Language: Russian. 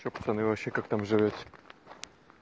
что пацаны вообще как там живёте